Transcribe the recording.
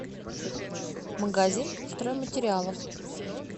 магазин стройматериалов